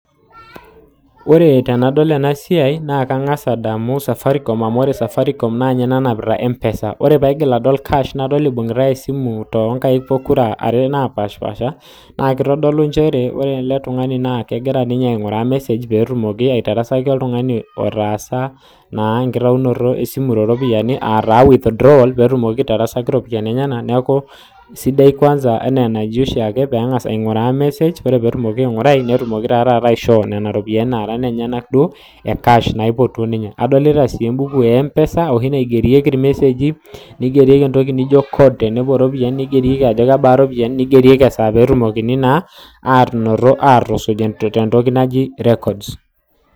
Ore tenadol ena siai naa kang'as adamu Safaricom. Amu ore Safaricom naa ninye nanapita empesa. Ore pee aigil adol naa kash, nadoleibung'itai iimui toonkaik pokira are napaashipaasha, naa keitodolu nchere ore ele tung'ani naa kegoira ninye ainguraa mesej pee etumoki aitarasaki olttung'ani otaasa enkitainoto esimu te ropiani, aa taa withdrawal, pee etumoki aitarasaki iropiani enyena, neaku, sidai kwaasa peeng'as aing'uraa mesej, ore pee etumoki aing'urai, netumoki taa taata aishoo nena ropiani naara inenyena, duo e kash, naiotuo ninye. Nadolita sii embuku e empesa enaooshi naigerieki ilmeseji, neigerieki entoki naijo code tenepuo iropiani ajo kebaa iropiani, neigerieki esaa peetumokini naa atusuj entoki naji records.